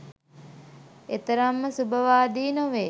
එතරම්ම සුබවාදී නොවේ.